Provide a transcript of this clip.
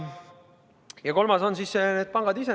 Ja kolmandaks: need pangad ise.